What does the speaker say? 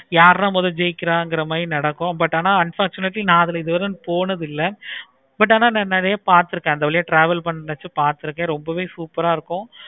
யாரு தான் முதல்ல ஜெயிக்கிறாங்க மாதிரி நடக்கும். but ஆனா unfortunately நா அதுல இது வரை போனது இல்லை. but ஆனா நா நெறைய பார்த்து இருக்கேன். travel பண்றப்ப பார்த்து இருக்கேன். ரொம்பவே சூப்பரா இருக்கும்.